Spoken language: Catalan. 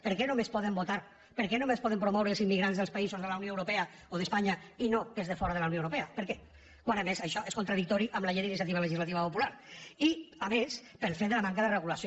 per què només poden votar per què només poden promoure els immigrants dels països de la unió europea o d’espanya i no els de fora de la unió europea per què quan a més això és contradictori amb la llei d’iniciativa legislativa popular i a més pel fet de la manca de regulació